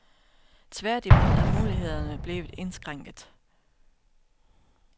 Tværtimod er mulighederne blevet indskrænket.